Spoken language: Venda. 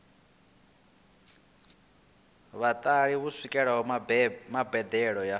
vhatheli u swikelela mbadelo ya